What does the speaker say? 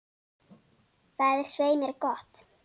Það er svei mér gott.